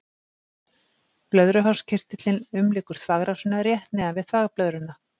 Blöðruhálskirtillinn umlykur þvagrásina rétt neðan við þvagblöðruna.